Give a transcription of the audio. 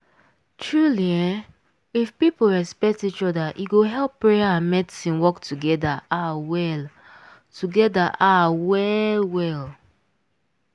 truely eeh if people respect each oda e go help prayer and medicine work togeda ah well togeda ah well well.